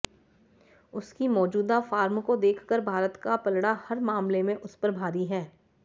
उसकी मौजूदा फॉर्म को देखकर भारत का पलड़ा हर मामले में उस पर भारी है